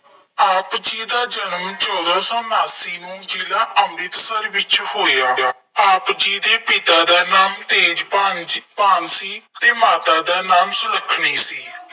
ਆਪ ਜੀ ਜਨਮ ਚੋਦਾਂ ਸੌ ਉਨਾਸੀ ਨੂੰ ਜਿਲ੍ਹਾ ਅੰਮ੍ਰਿਤਸਰ ਵਿੱਚ ਹੋਇਆ। ਆਪ ਜੀ ਦੇ ਪਿਤਾ ਦਾ ਨਾਮ ਤੇਜ਼ਭਾਨ ਜੀ ਭਾਨ ਸੀ ਅਤੇ ਮਾਤਾ ਦਾ ਨਾਮ ਸੁਲੱਖਣੀ ਸੀ।